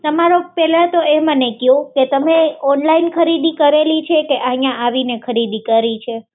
તમે પહેલાં તો એ મને ક્યો કે તમે ઓનલાઇન ખરીદી કરેલી છે કે અહીં આવીને ખરીદી કરી છે